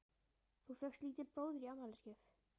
Þú fékkst lítinn bróður í afmælisgjöf.